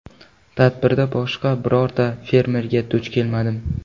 Tadbirda boshqa birorta fermerga duch kelmadim.